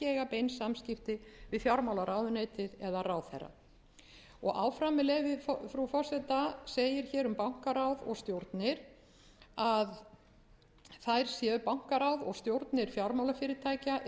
eiga bein samskipti við fjármálaráðuneytið eða ráðherra áfram með leyfi frú forseta segir hér um bankaráð og stjórnir að þær séu bankaráð og stjórnir fjármálafyrirtækja eru